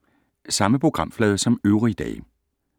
Samme programflade som øvrige dage